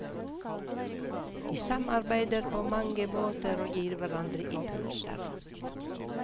De samarbeider på mange måter og gir hverandre impulser.